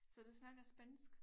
Så du snakker spansk